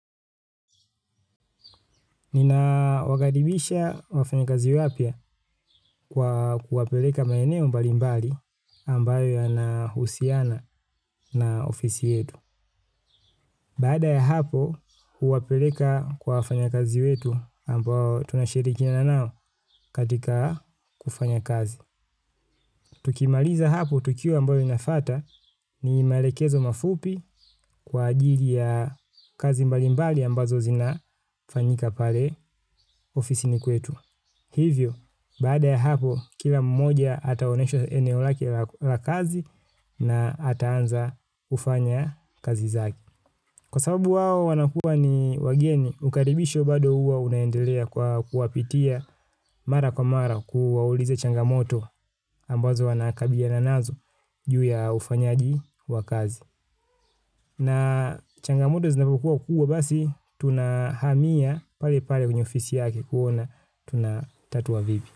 Nina wakaribisha wafanyi kazi wapya kwa kuwapeleka maeneo mbali mbali ambayo yana husiana na ofisi yetu. Baada ya hapo, huwapeleka kwa wafanya kazi wetu ambayo tunashirikina nao katika kufanya kazi. Tukimaliza hapo tukio ambalo linafata ni maelekezo mafupi kwa ajili ya kazi mbali mbali ambazo zina fanyika pale ofisini kwetu. Hivyo, baada ya hapo, kila mmoja ataoneshwa eneo lake la kazi na ataanza kufanya kazi zake. Kwa sababu wao wanakua ni wageni, ukaribishwo bado huwa unaendelea kwa kuwapitia mara kwa mara kuwauliza changamoto ambazo wanakabiliana nazo juu ya ufanyaji wa kazi. Na changamoto zinapokuwa kubwa basi, tunahamia pale pale kwenywe ofisi yake kuona, tunatatua vipi.